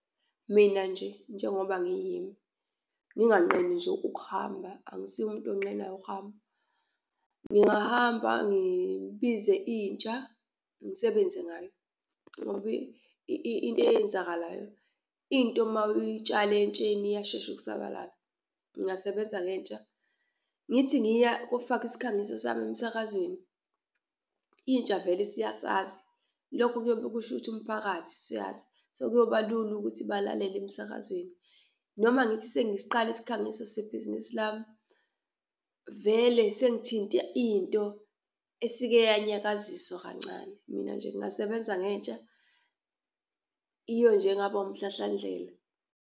Mina nje njengoba ngiyimi nginganqeni nje ukuhamba, angisiyi umuntu onqenayo ukuhamba, ngingahamba ngibize intsha ngisebenze ngayo ngoba into eyenzakalayo into uma uyitshale entsheni iyashesha ukusabalala. Ngingasebenza ngentsha, ngithi ngiya kufaka isikhangiso sami emsakazweni, intsha vele siyasazi lokho kuyobe kusho ukuthi umphakathi usuyazi. Sekuyoba lula ukuthi balalele emsakazweni, noma ngithi sengsiqala isikhangiso sebhizinisi lami vele sengithinta into esike yanyakaziswa kancane. Mina nje ngingasebenza ngentsha, iyo nje ngaba wumhlahlandlela.